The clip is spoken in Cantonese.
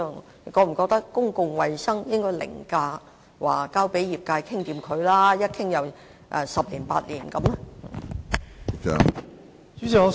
局長是否覺得公共衞生應該凌駕交由業界討論十年八年的做法？